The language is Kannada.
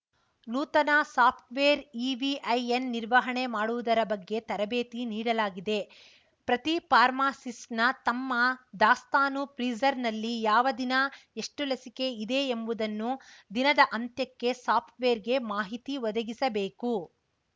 ನೂತನ ಸಾಫ್ಟ್‌ವೇರ್‌ ಇವಿಐಎನ್‌ ನಿರ್ವಹಣೆ ಮಾಡುವುದರ ಬಗ್ಗೆ ತರಬೇತಿ ನೀಡಲಾಗಿದೆ ಪ್ರತಿ ಫಾರ್ಮಾಸಿಸ್ಟ್‌ನ ತಮ್ಮ ದಾಸ್ತಾನು ಫ್ರೀಜರ್‌ನಲ್ಲಿ ಯಾವ ದಿನ ಎಷ್ಟುಲಸಿಕೆ ಇದೆ ಎಂಬುದನ್ನು ದಿನದ ಅಂತ್ಯಕ್ಕೆ ಸಾಫ್ಟ್‌ವೇರ್‌ಗೆ ಮಾಹಿತಿ ಒದಗಿಸಬೇಕು